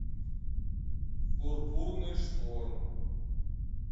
пурпурный шторм